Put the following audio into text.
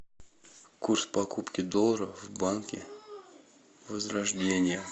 курс покупки доллара в банке возрождение